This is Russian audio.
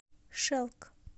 шелк